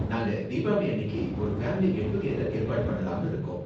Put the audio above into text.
நாங்க தீபாவளி அன்னிக்கு ஒரு ஃபேமிலி கெட் டூ கெதர் ஏற்பாடு பண்ணலாம்னு இருக்கோம்.